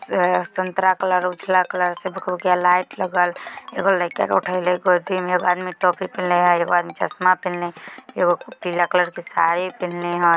से संतरा कलर उजला कलर से भूकभुकिया लाइट लगल एगो लइका के उठेएले गोदी मे एगो आदमी टोपी पिन्हले हेय एगो आदमी चस्मा पिन्हले हेय एगो पीला कलर के साड़ी पिन्हले हेय।